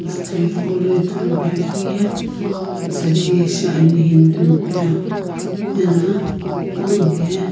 jutho hipaulo ithuluakeuye shaadi shi ani hindu mi qono eno panongu ye.